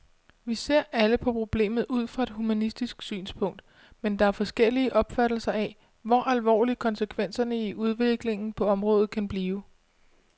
Vi ser alle på problemet ud fra et humanistisk synspunkt, men der er forskellige opfattelser af, hvor alvorlige konsekvenserne i udviklingen på området kan blive.